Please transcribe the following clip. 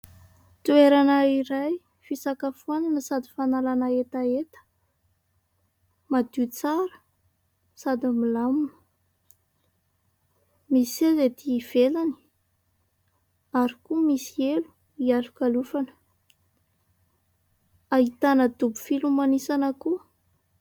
Toerana iray fisakafoana sady fanalana hetaheta: madio tsara sady milamina. Misy seza ety ivelany, ary koa misy elo hialokalofana. Ahitana dobo filomanosana koa.